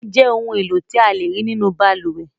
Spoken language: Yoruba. Àwo-ìwẹ̀ jẹ́ ohun-èlò tí a lè rí nínú balùwẹ̀.